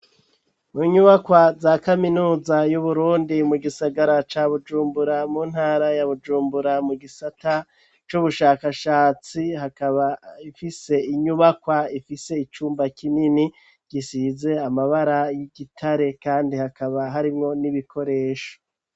Mu nyubakwa za kaminuza y'uburundi, mu gisagara ca bujumbura, mu ntara ya bujumbura ,mu gisata c'ubushakashatsi ,hakaba ifise inyubakwa ifise icumba kinini gisize amabara y'igitare, kandi hakaba harimwo n'ibikoresho.